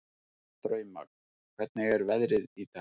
Drauma, hvernig er veðrið í dag?